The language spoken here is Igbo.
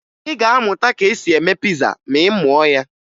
Ị ga-amụta ka e si eme piza ma ị mụọ ya